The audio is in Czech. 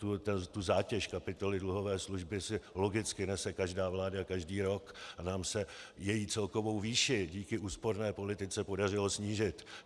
Tu zátěž kapitoly dluhové služby si logicky nese každá vláda každý rok a nám se její celkovou výši díky úsporné politice podařilo snížit.